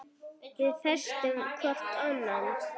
Við feisum hvor ann